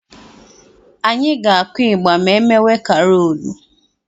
Anyị ga-akụ ịgbà ma emewe karoolu.